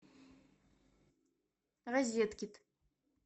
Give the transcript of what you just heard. розеткед